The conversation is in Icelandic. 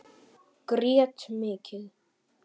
Grét mikið.